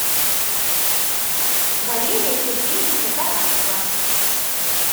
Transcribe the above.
валерия сергеевича тарасова